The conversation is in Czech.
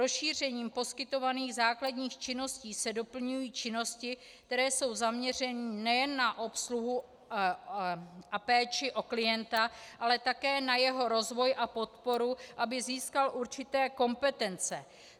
Rozšířením poskytovaných základních činností se doplňují činnosti, které jsou zaměřeny nejen na obsluhu a péči o klienta, ale také na jeho rozvoj a podporu, aby získal určité kompetence.